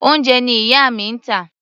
Oúnjẹ ni ìyá mi ń tà.